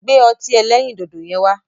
Gbẹ́ ọtí ẹlẹ́rìndòdò yẹn wá.